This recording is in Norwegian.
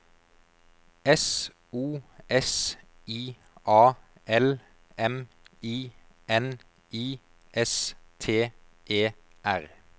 S O S I A L M I N I S T E R